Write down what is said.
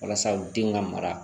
Walasa u den ka mara